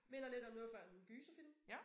Minder lidt om noget fra en gyserfilm